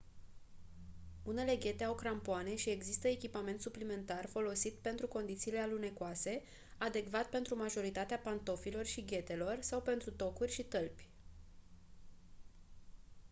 unele ghete au crampoane și există echipament suplimentar folosit pentru condițiile alunecoase adecvat pentru majoritatea pantofilor și ghetelor sau pentru tocuri și tălpi